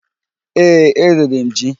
Ee, eriri m ji.